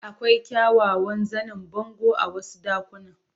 Akwai kyawawan zanen bango a wasu ɗakunan.